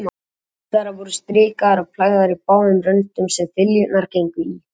Brúnir þeirra voru strikaðar og plægðar í báðum röndum, sem þiljurnar gengu í.